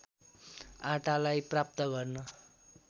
आटालाई प्राप्त गर्न